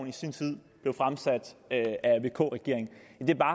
i sin tid blev fremsat af vk regeringen